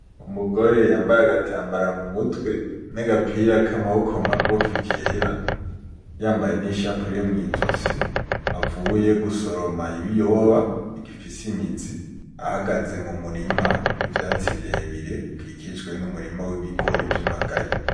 Umugore yambaye agatambara mu mutwe, n'agapira k'amaboko magufi kera, yambaye n'ishapure mw'izosi, avuye gusoroma ibiyoba bigifise imizi, ahagaze mu murima w'ivyatsi bire bire bikikijwe n'umurima w'ibigori vy'amagaye.